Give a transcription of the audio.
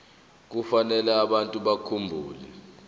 kufanele abantu bakhumbule